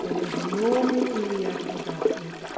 Tem o mesmo nome e é advogado como o pai.